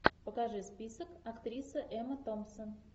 покажи список актриса эмма томпсон